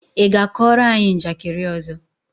ị ga-kọọrọ anyị njakịrị ọzọ?